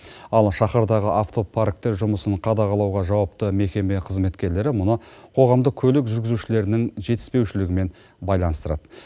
ал шаһардағы автопарктің жұмысын қадағалауға жауапты мекеме қызметкерлері мұны қоғамдық көлік жүргізушілерінің жетіспеушілігімен байланыстырады